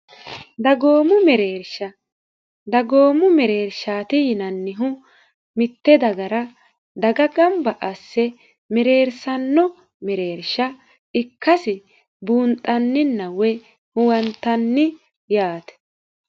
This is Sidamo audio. dagoomu mereersha dagoomu mereershaati yinannihu mitte dagara daga gamba asse mereersanno mereersha ikkasi buunxanninna woy huwantanni yaate